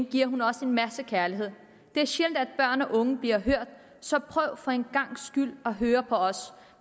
giver hun os en masse kærlighed det er sjældent at børn og unge bliver hørt så prøv for en gangs skyld at høre på os